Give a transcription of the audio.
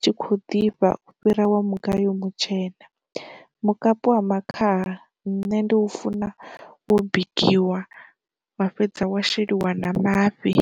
tshi khou ḓifha fhira wa mugayo mutshena. Mukapi wa makhaha nṋe ndi u funa wo bikiwa wa fhedza wa sheliwa na mafhi.